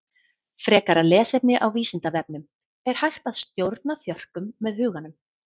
Frekara lesefni á Vísindavefnum Er hægt að stjórna þjörkum með huganum?